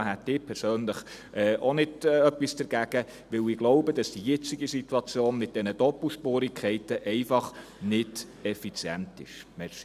Da hätte ich persönlich auch nichts dagegen, denn ich denke, dass die jetzige Situation mit diesen Doppelspurigkeiten nicht effizient ist.